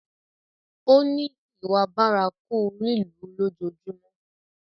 Ó ní ìwà bárakú lílù ú lójoojúmọ́.